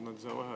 Selge!